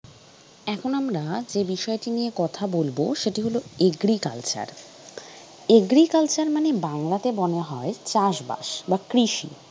এখন আমরা যে বিষয়টি নিয়ে কথা বলব, সেটি হল agricultural মানে বাংলাতে মনে হয় চাষ বাস বা কৃষি ।